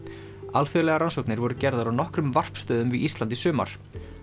alþjóðlegar rannsóknir voru gerðar á nokkrum varpstöðum við Ísland í sumar